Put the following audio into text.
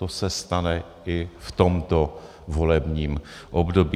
To se stane i v tomto volebním období.